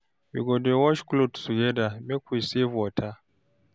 We go dey wash clothes togeda make we save water.